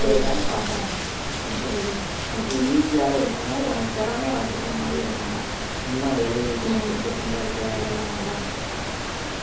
நம்ம வந்து வேற ஏதாவது பாப்போம் என்ன சொல்றது உனக்கு easy யாவும் இருக்கணும் உனக்கு திறமைய வளர்த்துக்கிற மாதிரியும் இருக்கணும் சும்மா எழுதி கொடுத்துட்டு சம்பாதிக்கிற வேலை எல்லாம் வேண்டாம்